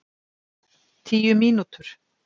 Tíu mínútur?